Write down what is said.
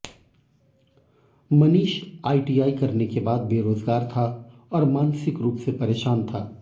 Manish ITI करने के बाद बेरोजगार था और मानसिक रूप से परेशान था